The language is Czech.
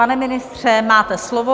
Pane ministře, máte slovo.